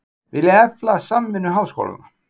Vilja efla samvinnu háskólanna